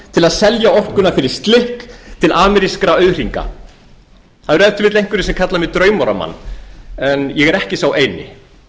til að selja orkuna fyrir slikk til amerískra auðhringa það eru ef til vill einhverjir sem kalla mig draumóramann en ég er ekki sá eini